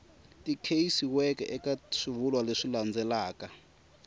tikisiweke eka swivulwa leswi landzelaka